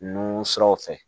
Nun siraw fɛ